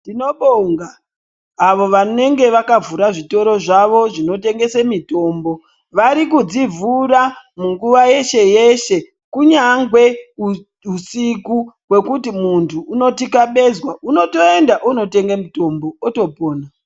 Tinobonga avo vanenge vakavhura zvitoro zvavo zvinotengese mitombo. Vari kudzivhura munguwa yeshe-yeshe ,kunyangwe uusiku hwekuti muntu unothikabezwa ,unotoenda, wototenge mitombo, wotopona.